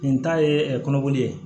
Nin ta ye kɔnɔkoli ye